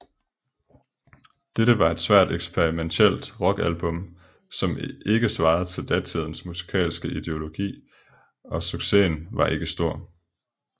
Dette var et svært eksperimentielt rockalbum som ikke svarede til datidens musikalske ideologi og succesen var ikke stor